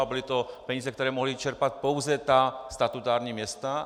A byly to peníze, které mohla čerpat pouze ta statutární města.